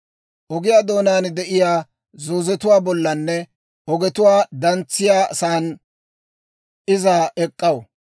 Ogiyaa doonaan de'iyaa zoozetuwaa bollanne ogetuu dantsettiyaasan iza ek'k'aw;